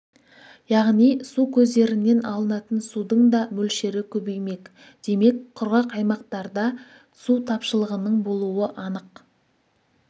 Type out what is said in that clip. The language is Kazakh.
яғни су көздерінен алынатын судың да мөлшері көбеймек демек құрғақ аймақтарда су тапшылығының болуы анық